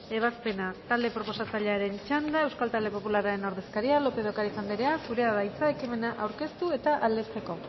ebazpena talde proposatzailearen txanda euskal talde popularren ordezkaria lópez de ocariz anderea zurea da hitza ekimena aurkeztu eta aldetzeko